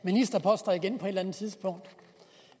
ministerposter igen på et eller andet tidspunkt